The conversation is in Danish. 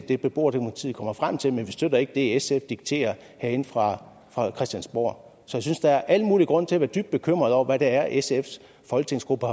det beboerdemokratiet kommer frem til men vi støtter ikke det sf dikterer herinde fra fra christiansborg så jeg synes der er al mulig grund til at være dybt bekymret over hvad det er sfs folketingsgruppe